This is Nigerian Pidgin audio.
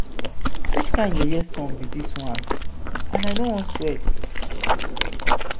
which kin yeye sun be dis one? and i no wan sweat.